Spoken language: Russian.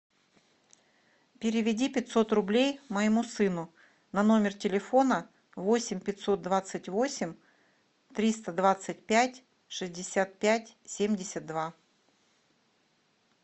переведи пятьсот рублей моему сыну на номер телефона восемь пятьсот двадцать восемь триста двадцать пять шестьдесят пять семьдесят два